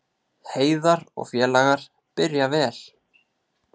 Heiðar og félagar byrja vel